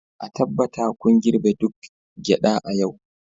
a tabbata kun girbe duk gyada a yau